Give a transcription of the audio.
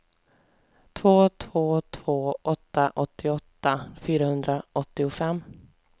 två två två åtta åttioåtta fyrahundraåttiofem